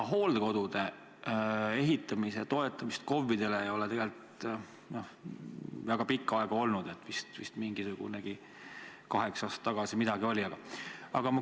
Hooldekodude ehitamise toetamist KOV-idele ei ole tegelikult väga pikka aega olnud, vist umbes kaheksa aastat tagasi midagi oli.